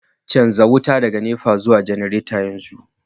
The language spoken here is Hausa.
canza wuta daga NEPA zuwa janareta yanzu